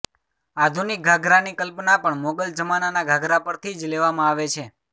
આધુનિક ઘાઘરાની કલ્પના પણ મોગલ જમાનાના ઘાઘરા પરથી જ લેવામાં આવે છે